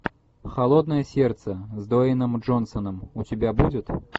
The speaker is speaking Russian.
холодное сердце с дуэйном джонсоном у тебя будет